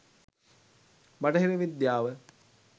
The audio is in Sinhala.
බටහිර විද්‍යාව